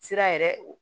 Sira yɛrɛ